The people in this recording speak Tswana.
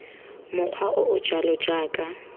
mokgwa o o jalo jaaka